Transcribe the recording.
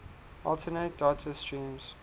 alternate data streams